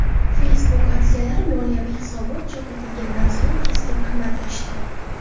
Facebook aksiyalari moliyaviy hisobot chop etilganidan so‘ng keskin qimmatlashdi.